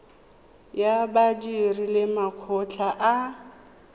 ya badiri le makgotla a